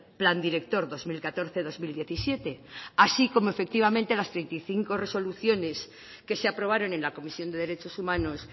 plan director dos mil catorce dos mil diecisiete así como efectivamente las treinta y cinco resoluciones que se aprobaron en la comisión de derechos humanos